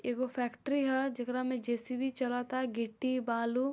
एगो फैक्ट्री ह जेकरा में जे.सी.बी. चलता गिट्टी बालू --